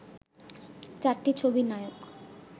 চারটি ছবির নায়ক